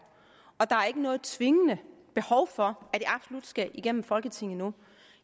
og der er ikke noget tvingende behov for at det absolut skal igennem folketinget nu